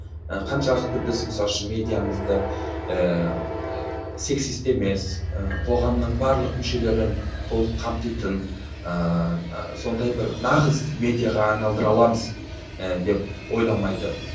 ы қаншалықты біз мысалы үшін медиамызды ыыы сексисті емес ы қоғамның барлық мүшелерін толық қамтитын ыыы сондай бір нағыз медиаға айналдыра аламыз ы деп ойламайды